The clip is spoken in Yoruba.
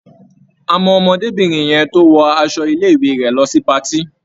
A mọ ọmọdébìnrin yẹn tó wọ aṣọ ilé-ìwé rẹ̀ lọ sí patí.